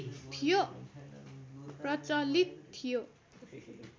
प्रचलित थियो